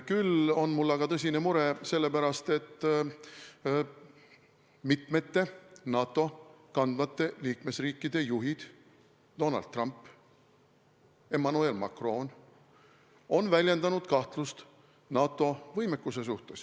Küll aga on mul tõsine mure selle pärast, et NATO mitmete kandvate liikmesriikide juhid – Donald Trump, Emmanuel Macron – on väljendanud kahtlust NATO võimekuse suhtes.